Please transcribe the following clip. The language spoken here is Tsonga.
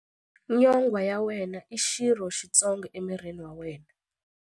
Nyonghwa ya wena i xirho xitsongo emirini wa wena.